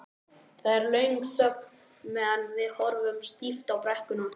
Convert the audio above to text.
Það er löng þögn meðan við horfum stíft á brekkuna.